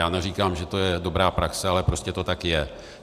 Já neříkám, že to je dobrá praxe, ale prostě to tak je.